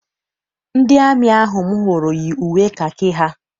Ndị amị ahụ m hụrụ yi uwe kakị ha.